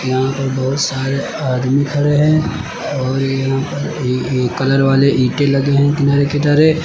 यहां पर बहुत सारे आदमी खड़े हैं और यहां पर ये ए ए कलर वाले ईंटें लगे हैं किनारे किनारे।